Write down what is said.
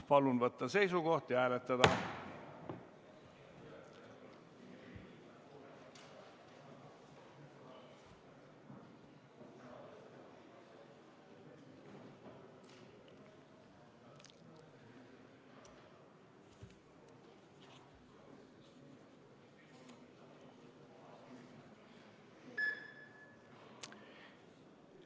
Palun võtta seisukoht ja hääletada!